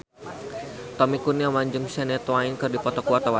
Tommy Kurniawan jeung Shania Twain keur dipoto ku wartawan